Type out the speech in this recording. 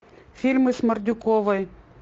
фильмы с мордюковой